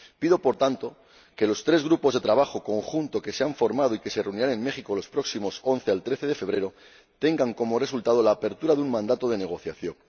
Pido, por tanto, que los tres grupos de trabajo conjuntos que se han formado y que se reunirán en México los próximos 11 a 13 de febrero den como resultado la apertura de un mandato de negociación.